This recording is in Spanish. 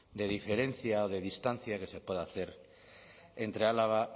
de diferencia de distancia que se puede hacer entre álava